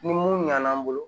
Ni mun ɲana an bolo